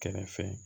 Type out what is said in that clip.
Kɛrɛfɛ